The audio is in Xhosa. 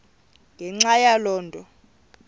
ngenxa yaloo nto